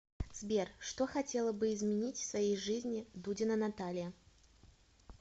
сбер что хотела бы изменить в своей жизни дудина наталья